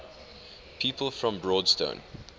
people from broadstone